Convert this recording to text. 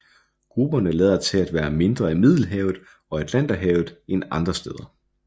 Grupperne lader til at være mindre i Middelhavet og Atlanterhavet end andre steder